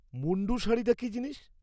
মুন্ডু শাড়িটা কি জিনিস?